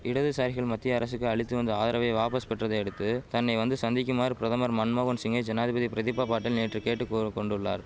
இடதுசாரிகள் மத்திய அரசுக்கு அளித்து வந்த ஆதரவை வாபஸ் பெற்றதையடுத்து தன்னை வந்து சந்திக்குமாறு பிரதமர் மன்மோகன் சிங்கை ஜனாதிபதி பிரதிபா பாட்டீல் நேற்று கேட்டு கூற கொண்டுள்ளார்